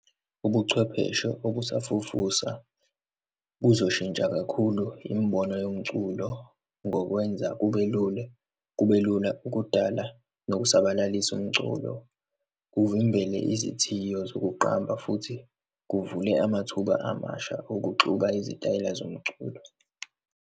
Ubuchwepheshe obusafufusa buzoshintsha kakhulu imibono yomculo ngokwenza kubelule, kubelula ukudala nokusabalalisa umculo, kuvimbele izithiyo zokuqamba futhi kuvule amathuba amasha okuxuka izitayela zomculo.